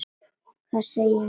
Hvað segjum við?